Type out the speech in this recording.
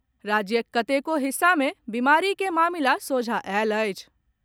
राज्यक कतेको हिस्सा मे बीमारी के मामिला सोझा आयल अछि।